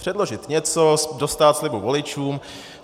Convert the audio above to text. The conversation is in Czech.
Předložit něco, dostát slibu voličům.